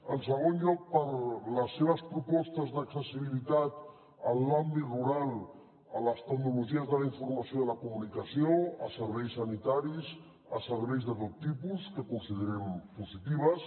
en segon lloc per les seves propostes d’accessibilitat en l’àmbit rural a les tecnologies de la informació i la comunicació a serveis sanitaris a serveis de tot tipus que considerem positives